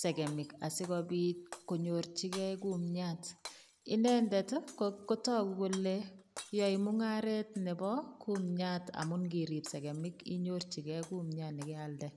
segemik asikopit konyorchige kumiat. Inendet ko tagu kole yae mungaret nebo kumiat amu ngirip segemik inyorchige kumiat ne kealde.